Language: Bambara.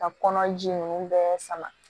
Ka kɔnɔ ji nunnu bɛɛ sama